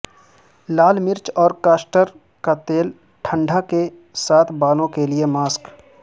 لال مرچ اور کاسٹر کا تیل کے ٹھنڈا کے ساتھ بالوں کے لئے ماسک